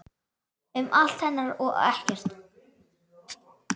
Um allt hennar og ekkert.